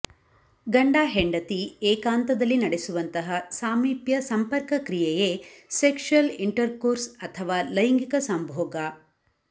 ಗಂಡ ಹೆಂಡತಿ ಏಕಾಂತದಲ್ಲಿ ನಡೆಸುವಂತಹ ಸಾಮಿಪ್ಯ ಸಂಪರ್ಕ ಕ್ರಿಯೆಯೇ ಸೆಕ್ಸುಯಲ್ ಇಂಟರ್ಕೋರ್ಸ್ ಅಥವಾ ಲೈಂಗಿಕ ಸಂಭೋಗ